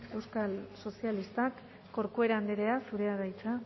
euskal sozialistak corcuera andrea zurea da hitza